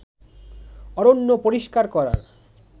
অরণ্য পরিষ্কার করার